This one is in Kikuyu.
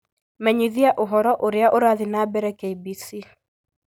menyithia ũhoro Ũrĩa Ũrathi na mbere k.b.c